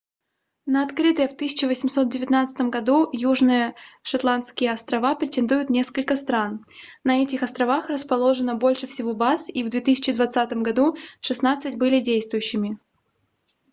на открытые в 1819 году южные шетландские острова претендуют несколько стран на этих островах расположено больше всего баз и в 2020 году шестнадцать были действующими